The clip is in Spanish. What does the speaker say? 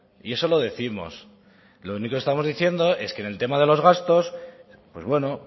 y eso lo décimos lo único que estamos diciendo es que en el tema de los gastos pues bueno